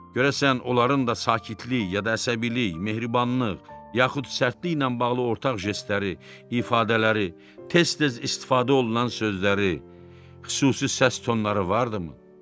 Görəsən onların da sakitlik, ya da əsəbilik, mehribanlıq, yaxud sərtliklə bağlı ortaq jestləri, ifadələri, tez-tez istifadə olunan sözləri, xüsusi səs tonları vardımı?